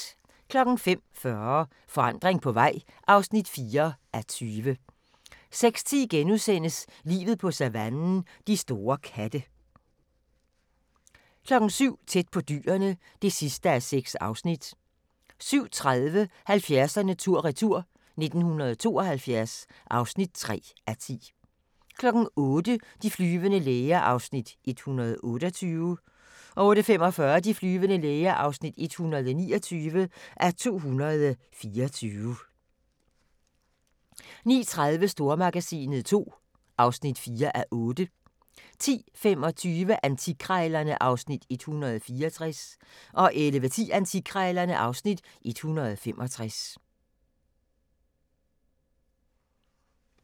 05:40: Forandring på vej (4:20) 06:10: Livet på savannen – de store katte * 07:00: Tæt på Dyrene (6:6) 07:30: 70'erne tur-retur: 1972 (3:10) 08:00: De flyvende læger (128:224) 08:45: De flyvende læger (129:224) 09:30: Stormagasinet II (4:8) 10:25: Antikkrejlerne (Afs. 164) 11:10: Antikkrejlerne (Afs. 165) 11:55: Auktionshuset III (1:12)